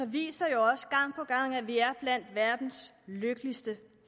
viser jo også gang på gang at vi er blandt verdens lykkeligste